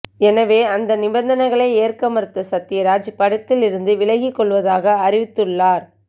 எனவே அந்த நிபர்ந்தனைகளை ஏற்க மறுத்த சத்யராஜ் படத்திலிருந்து விலகிக் கொள்வதாக அறிவித்துள்ளார்